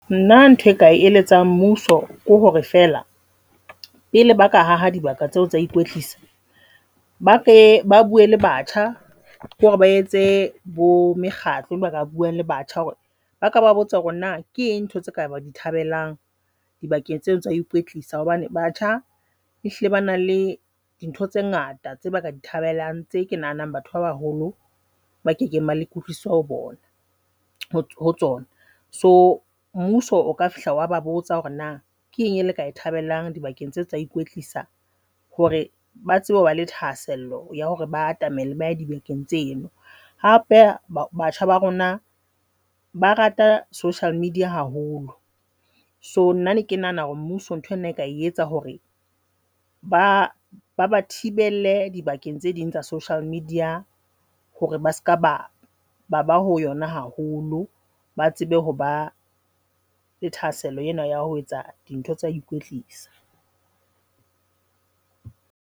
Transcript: Nna ntho e nka e eletsang mmuso ke hore fela pele ba ka ha ha dibaka tseo tsa ho ikwetlisa, Ba ke ba bue le batjha, ke hore ba etse bo mekgatlo ka buang le batjha, hore ba ke ba ba botse hore na ke eng ntho tseo ba ka dithabelang dibakeng tseno tsa ho ikwetlisa hobane batjha e hlile ba nang le dintho tse ngata tse ba ka di thabelang tse ke nahanang batho ba baholo ba kekeng ba ba le kutlwisiso bona ho tsona. So mmuso o ka fihla wa ba botsa hore na ke eng e le ka e thabelang dibakeng tse tsa ikwetlisa hore ba tsebe hoba le thahasello ya hore ba atamele ba dibakeng tseno. Hape ba batjha ba rona ba rata social media haholo. So nna ne ke nahana hore mmuso ntho ena e ka e etsa hore ba baba thibelle dibakeng tse ding tsa social media hore ba seka ba ba ba ho yona haholo, ba tsebe hoba le thahasello ena ya ho etsa dintho tsa ikwetlisa.